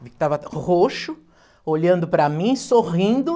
Ele estava roxo, olhando para mim, sorrindo.